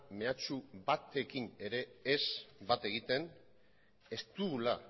mehatxu batekin ere ez bat egiten ez dugula